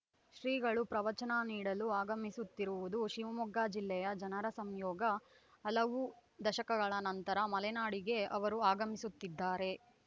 ಶ್ರೀಗಳು ಪ್ರವಚನ ನೀಡಲು ಆಗಮಿಸುತ್ತಿರುವುದು ಶಿವಮೊಗ್ಗ ಜಿಲ್ಲೆಯ ಜನರ ಸಂಯೋಗ ಹಲವು ದಶಕಗಳ ನಂತರ ಮಲೆನಾಡಿಗೆ ಅವರು ಆಗಮಿಸುತ್ತಿದ್ದಾರೆ